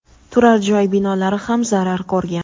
turar-joy binolari ham zarar ko‘rgan.